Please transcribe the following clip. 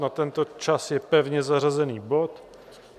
Na tento čas je pevně zařazený bod.